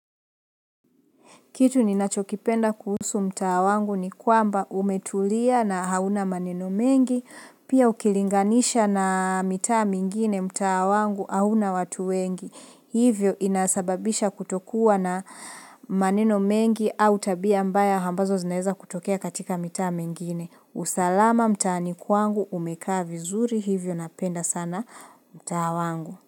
Kitu ninachokipenda kuhusu mtaa wangu ni kwamba umetulia na hauna maneno mengi, pia ukilinganisha na mitaa mingine mtaa wangu hauna watu wengi. Hivyo inasababisha kutokuwa na maneno mengi au tabia mbaya ambazo zinaeza kutokea katika mitaa mingine. Usalama mtaani kwangu umekaa vizuri hivyo napenda sana mtaa wangu.